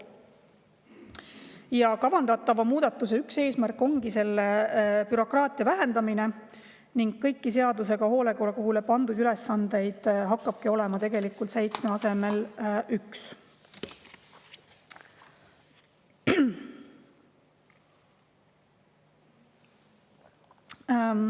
Üks kavandatava muudatuse eesmärk ongi bürokraatia vähendamine ning kõiki seadusega hoolekogule pandud ülesandeid hakkabki olema seitsme asemel üks.